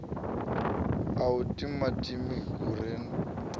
na u timatima hu re